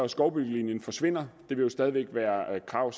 skovbyggelinjen forsvinder det vil jo stadig væk være et krav